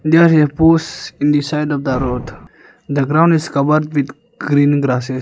there a posh in the side of the road the ground is covered with green grasses.